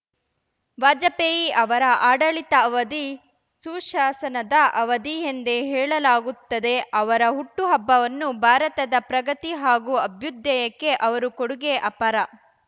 ವಾಜಪೇಯಿ ಅವರ ಆಡಳಿತ ಅವಧಿ ಸುಶಾಸನದ ಅವಧಿ ಎಂದೇ ಹೇಳಲಾಗುತ್ತದೆ ಅವರ ಹುಟ್ಟುಹಬ್ಬವನ್ನು ಭಾರತದ ಪ್ರಗತಿ ಹಾಗೂ ಅಭ್ಯುದಯಕ್ಕೆ ಅವರು ಕೊಡುಗೆ ಅಪಾರ